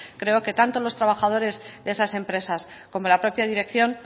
creo que tanto los trabajadores de esas empresas como la propia dirección